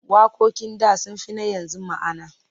Waƙoƙin da sun fi na yanzu ma'ana.